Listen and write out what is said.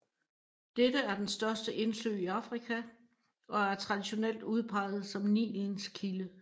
Dette er den største indsø i Afrika og er traditionelt udpeget som Nilens kilde